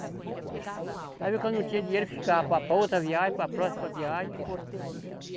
Às vezes quando não tinha dinheiro eu ficava para, para outra viagem, para próxima viagem, mas eu vendia tudo.